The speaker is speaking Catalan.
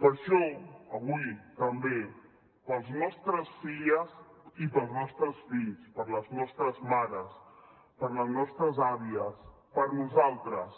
per això avui també per les nostres filles i pels nostres fills per les nostres mares per les nostres àvies per nosaltres